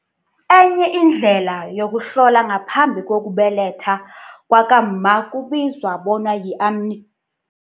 Enye indlela yokuhlola ngaphambi kokubeletha kwakamma kubizwa bona yi-amni